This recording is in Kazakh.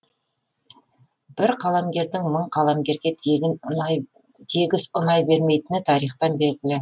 бір қаламгердің мың қаламгерге тегіс ұнай бермейтіні тарихтан белгілі